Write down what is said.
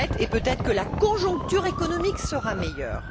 Peut être que la conjoncture économique sera meilleure.